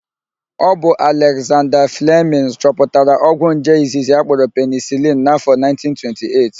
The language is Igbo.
Ọ bụ Alekzanda Flemịn chọpụtara ogwụ nje izizi akpọrọ penisilin n'áfọ̀ 1928.